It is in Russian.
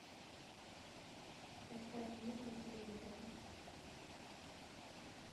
поставь мир на телевизоре